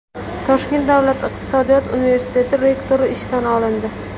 Toshkent davlat iqtisodiyot universiteti rektori ishdan olindi.